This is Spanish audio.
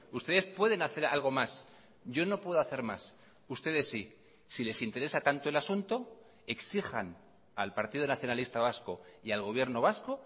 ustedes pueden hacer algo más yo no puedo hacer más ustedes sí si les interesa tanto el asunto exijan al partido nacionalista vasco y al gobierno vasco